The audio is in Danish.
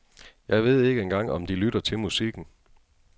Jeg ved ikke engang om de lytter til musikken.